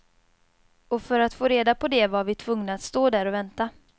Och för att få reda på det var vi tvungna att stå där och vänta.